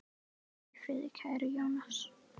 Hvíl í friði, kæri Jónas.